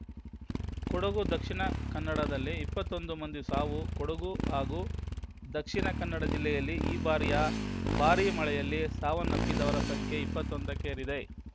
ಕೊಡಗು ದಕ್ಷಿಣ ಕನ್ನಡದಲ್ಲಿ ಇಪ್ಪತ್ತೊಂದು ಮಂದಿ ಸಾವು ಕೊಡಗು ಹಾಗೂ ದಕ್ಷಿಣ ಕನ್ನಡ ಜಿಲ್ಲೆಯಲ್ಲಿ ಈ ಬಾರಿಯ ಭಾರೀ ಮಳೆಯಲ್ಲಿ ಸಾವನ್ನಪ್ಪಿದವರ ಸಂಖ್ಯೆ ಇಪ್ಪತ್ತೊಂದಕ್ಕೇರಿದೆ